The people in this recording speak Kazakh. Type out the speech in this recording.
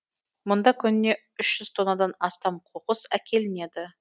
мұнда күніне үш жүз тоннадан астам қоқыс әкелінеді